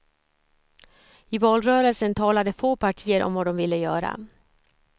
I valrörelsen talade få partier om vad de ville göra.